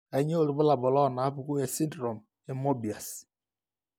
Kainyio irbulabul onaapuku esindirom eMoebius?